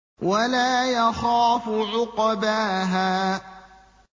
وَلَا يَخَافُ عُقْبَاهَا